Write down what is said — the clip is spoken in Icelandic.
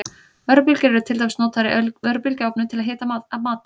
Örbylgjur eru til dæmis notaður í örbylgjuofnum til að hita mat.